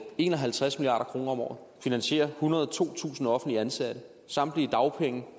en og halvtreds milliard kroner om året finansierer ethundrede og totusind offentligt ansatte samtlige dagpenge